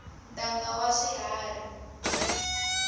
ntanga wa swiharhi